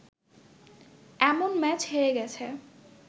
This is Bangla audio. এমন ম্যাচ হেরে গেছে